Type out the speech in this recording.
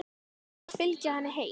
Ætlarðu að fylgja henni heim?